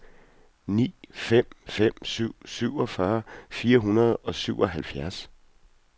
ni fem fem syv syvogfyrre fire hundrede og syvoghalvfjerds